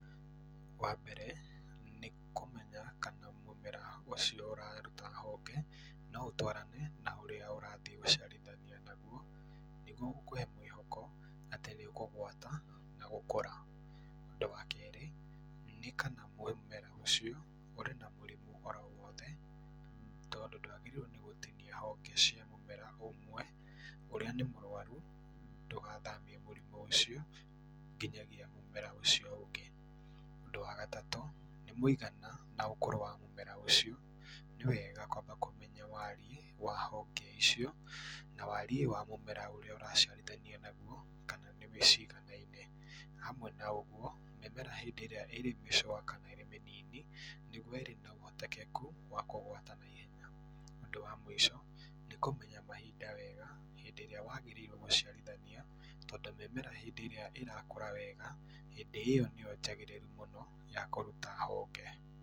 Wambere nĩkũmenya kana mũmera ũcio ũraruta honge no ũtwarane na ũcio ũrathiĩ gũciarithania naguo gũkũhe mwĩhoko atĩ nĩũkũgwata na gũkũra. Ũndũ wa kerĩ, nĩ kana mũmera ũcio ũrĩ na mũrimũ oro wothe tondũ ndwagĩrĩirwo nĩ gũtinia honge cia mũmera ũmwe ũrĩa nĩ mũrwarũ ndũgathamie mũrimũ ũcio nginyagia mũmera ũcio ũngĩ. Ũndũ wa gatatũ nĩ mũigana na ũkũrũ wa mũmera ũcio, nĩwega kwamba kũmenya wariĩ wa honge icio na wariĩ wa mũmera ũrĩa ũraciarithania naguo kana nĩ wĩ ciganaine. Hamwe na ũguo, ng'ethera hĩndĩ ĩrĩa ĩrĩ mĩcũa kana ĩrĩ mĩnini, nĩguo ĩrĩ na ũhotekeku wa kũgwata naihenya. Ũndũ wa mũico nĩkũmenya mahinda wega hĩndĩ ĩrĩa wagĩrĩirwo gũciarithania tondũ mĩmera hĩndĩ ĩrĩa ĩrakũra wega hĩndĩ ĩyo nĩyo njagĩrĩru mũno ya kũruta honge.